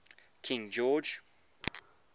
king george